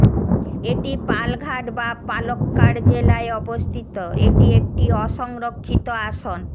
এটি পালঘাট বা পালক্কাড় জেলায় অবস্থিত এটি একটি অসংরক্ষিত আসন